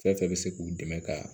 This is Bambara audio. Fɛn fɛn bɛ se k'u dɛmɛ ka